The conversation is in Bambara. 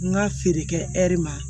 N ka feere kɛ ɛri ma